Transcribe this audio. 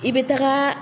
I bɛ taga